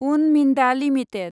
उन मिन्दा लिमिटेड